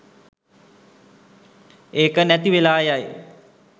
ඒක නැති වෙලා යයි